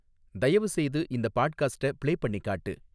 தயவுசெய்து இந்த பாட்காஸ்ட்ட பிளே பண்ணிக் காட்டு